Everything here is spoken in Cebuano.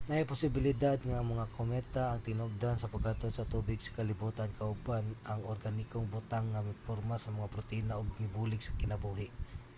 naay posibilidad nga ang mga kometa ang tinubdan sa paghatod sa tubig sa kalibutan kauban ang organikong butang nga miporma sa mga protina ug nibulig sa kinabuhi